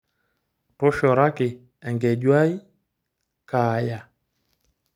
Toshoraki enkeju ai Kaaya.